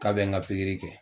K'a bɛn n ka pikiri kɛ